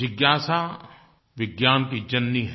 जिज्ञासा विज्ञान की जननी है